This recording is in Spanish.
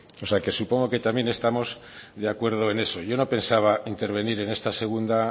o sea que supongo que también estamos de acuerdo en eso yo no pensaba intervenir en esta segunda